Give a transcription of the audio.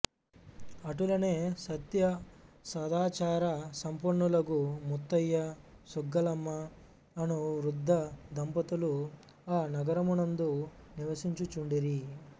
అటులనే సత్యసదాచార సంపన్నులగు ముత్తయ్య సుగ్గలమ్మ అను వృద్ధదంపతులు ఆనగరమునందు నివసించుచుండిరి